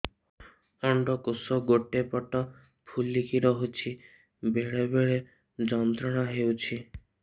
ଅଣ୍ଡକୋଷ ଗୋଟେ ପଟ ଫୁଲିକି ରହଛି ବେଳେ ବେଳେ ଯନ୍ତ୍ରଣା ହେଉଛି